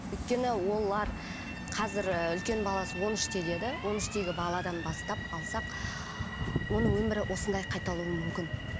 өйткені олар қазір ыыы үлкен баласы он үште деді он үштегі баладан бастап алсақ оның өмірі осындай қайталауы мүмкін